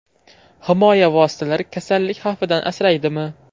Himoya vositalari kasallik xavfidan asraydimi?